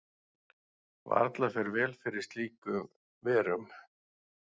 Varla fer vel fyrir slíkur verum.